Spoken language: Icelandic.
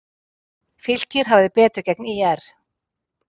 Fylkir hafði betur gegn ÍR